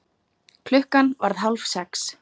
Klukkan varð hálf sex.